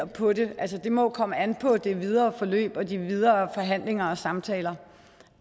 på det det må jo komme an på det videre forløb og de videre forhandlinger og samtaler